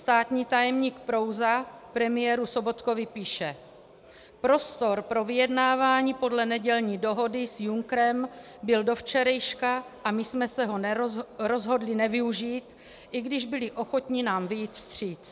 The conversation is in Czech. Státní tajemník Prouza premiéru Sobotkovi píše: "Prostor pro vyjednávání podle nedělní dohody s Junckerem byl do včerejška a my jsme se ho rozhodli nevyužít, i když byli ochotni nám vyjít vstříc".